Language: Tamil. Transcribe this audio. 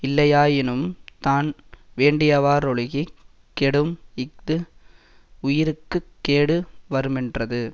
இல்லையாயினும் தான் வேண்டியவாறொழுகிக் கெடும் இஃது உயிர்க்கு கேடு வருமென்றது